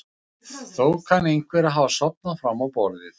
Þó kann einhver að hafa sofnað fram á borðið.